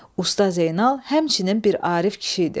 Usta Zeynal həmçinin bir Arif kişi idi.